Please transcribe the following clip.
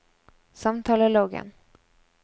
samtaleloggen